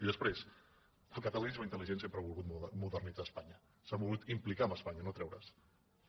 i després el catalanisme intel·ligent sempre ha volgut modernitzar espanya s’ha volgut implicar amb espanya no treurese’n